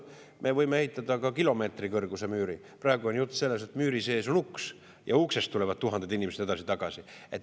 Me võime ehitada ka kilomeetrikõrguse müüri, aga praegu on jutt sellest, et müüri sees on uks ja uksest tuhanded inimesed edasi-tagasi.